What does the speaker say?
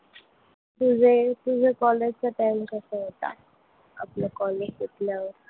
तुझे तुझे college चे timings कसे होते? आपलं college संपल्यावर.